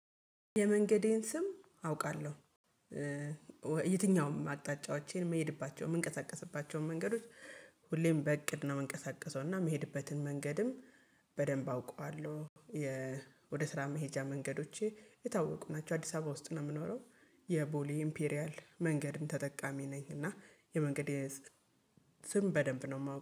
የመንገዴን ስም አውቃለሁ። የትኛውም አቅጣጫዎቼን የምሄድባቸው የምንቀሳቀስባቸውን መንገዶች ሁሌም በእቅድ ነው የምንቀሳቀሰው፤ እና የምሄድበትን መንገድም በደንብ አውቀዋለሁ። የ ወደ ስራ መሄጃ መንገዶቼ የታወቁ ናቸው። አዲስ አበባ ውስጥ ነው የምኖረው የቦሌ ኢምፔሪያል መንገድም ተጠቃሚ ነኝ፤ እና የመንገዴ ስም በደንብ ነው የማ